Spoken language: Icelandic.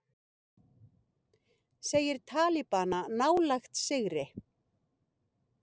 Segir talibana nálægt sigri